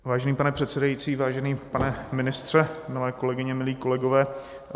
Vážený pane předsedající, vážený pane ministře, milé kolegyně, milí kolegové.